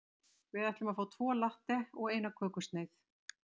Við ætlum að fá tvo latte og eina kökusneið.